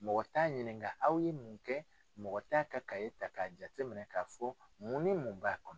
Mɔgɔ t'a ɲininka aw ye mun kɛ mɔgɔ t'a ka ta k'a jate minɛ k'a fɔ mun ni mun b'a kɔnɔ.